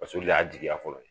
Paseke olu de y'a jigiya fɔlɔ